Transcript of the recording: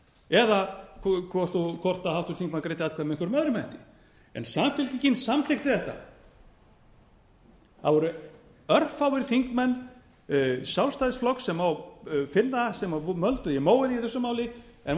eða hvort háttvirtur þingmaður greiddi atkvæði með einhverjum öðrum hætti samfylkingin samþykkti þetta það voru örfáir þingmenn sjálfstæðisflokks sem má finna sem mölduðu í móinn í þessu máli en